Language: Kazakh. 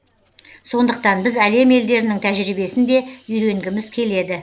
сондықтан біз әлем елдерінің тәжірибесін де үйренгіміз келеді